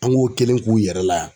An g'o kelen k'u yɛrɛ laa